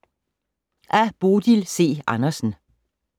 Af Bodil C. Andersen